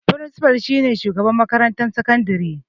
Frincifal shi ne shugaban makarantar sakandare